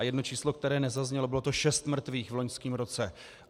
A jedno číslo, které nezaznělo, bylo to šest mrtvých v loňském roce.